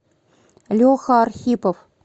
леха архипов